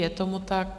Je tomu tak.